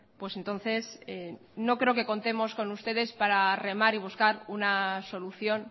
pues entonces no creo que contemos con ustedes para remar y buscar una solución